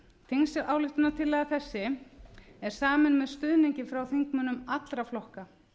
þingsályktunartillaga þessi er samin með stuðningi frá þingmönnum allra flokka